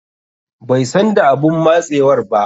Bai san da abun matsewar ba.